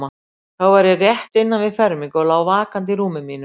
Þá var ég rétt innan við fermingu og lá vakandi í rúmi mínu.